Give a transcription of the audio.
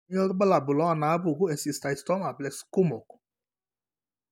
Kainyio irbulabul onaapuku eSteatocystoma plexkumok?